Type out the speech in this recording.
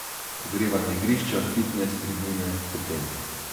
Ogrevana igrišča, fitnes, tribune, hotel ...